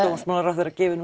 dómsmálaráðherra gefur nú